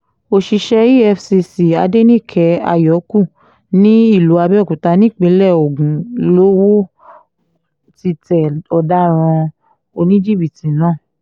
òṣìṣẹ́ efcc adẹnìke àyókù ní ìlú abẹ́òkúta nípínlẹ̀ ogun lowó ti tẹ ọ̀daràn oníjìbìtì náà